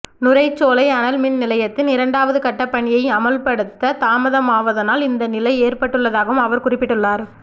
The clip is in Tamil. நுரைச்சோலை அனல் மின் நிலையத்தின் இரண்டாவது கட்ட பணியை அமுல்படுத்த தாமதமாவதனால் இந்த நிலை ஏற்பட்டுள்ளதாகவும் அவர் குறிப்பிட்டுள்ளார்